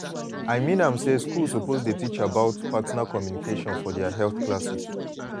i mean am say schools suppose dey teach about partner communication for their health classes.